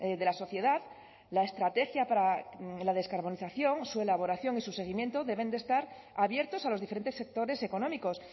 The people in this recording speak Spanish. de la sociedad la estrategia para la descarbonización su elaboración y su seguimiento deben estar abiertos a los diferentes sectores económicos